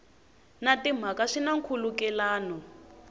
na timhaka swi na nkhulukelano